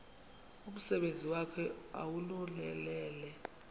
umsebenzi wakhe ewunonelele